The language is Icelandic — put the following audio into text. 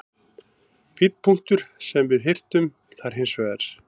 Fínn punktur sem við hirtum þar hins vegar.